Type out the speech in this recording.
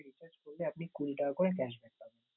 recharge আপনি কুড়ি টাকা করে cash back পাবেন।